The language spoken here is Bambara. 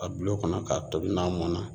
A bil'o kɔnɔ k'a tobi n'a mɔn na